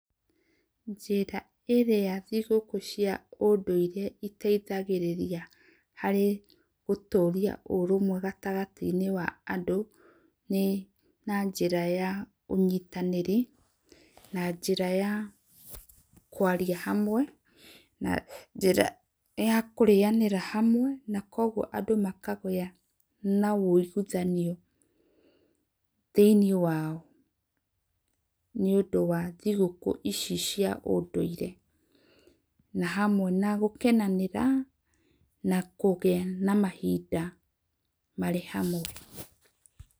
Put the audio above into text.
Njĩra ĩrĩa thĩgũkũ cia ũndũĩre iteithagĩrĩrĩa harĩ gũtũrĩa ũrũmwe gatagatĩ inĩ wa andũ nĩ na njĩra ya ũnyĩtanĩrĩ na njĩra ya kũarĩa hamwe na njĩra ya kũrĩanĩra hamwe, na kwogwo andũ makagĩa na ũĩgĩthanĩo thĩ inĩ wao nĩ ũndũ wa thĩkũ ici cia ũndũĩre na hamwe na gũkenanĩra na kũgĩa na mahĩnda marĩ hamwe.